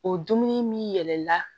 O dumuni min yɛlɛla